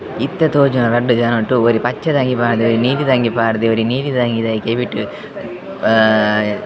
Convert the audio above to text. ಇತ್ತೆ ತೋಜುನ ರಡ್ಡ್ ಜನಟ್ ಒರಿ ಪಚ್ಚೆ ದ ಅಂಗಿ ಪಾಡ್ದೆ ನೀಲಿದ ಅಂಗಿ ಪಾಡ್ದೆ ಒರಿ ನೀಲಿದ ಅಂಗಿದಾಯೆ ಕೆಬಿಟ್ ಅಹ್ --